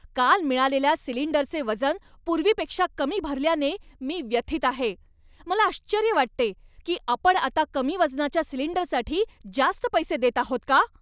काल मिळालेल्या सिलिंडरचे वजन पूर्वीपेक्षा कमी भरल्याने मी व्यथित आहे. मला आश्चर्य वाटते की आपण आता कमी वजनाच्या सिलिंडरसाठी जास्त पैसे देत आहोत का?